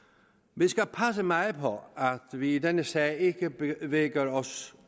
vi skal passe meget på at vi i denne sag ikke bevæger os